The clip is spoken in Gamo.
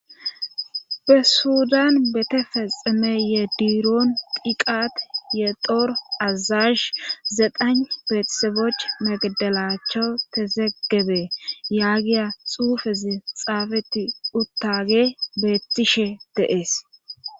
Be sudan betefexemeye diiroon piqat ye dor azash zeqan pheetisebech magdalaachcho te zeggebe yaagiya xuufezi xaafeti uttage beettishe deees.